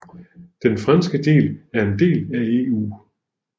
Den franske del er en del af EU